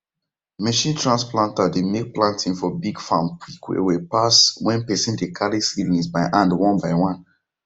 machine trans planter dey make planting for big farms quick wellwell pass when person dey carry seedlings by hand one by one